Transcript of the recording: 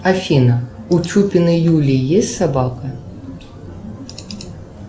афина у чупиной юлии есть собака